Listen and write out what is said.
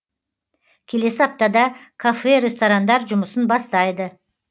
келесі аптада кафе ресторандар жұмысын бастайды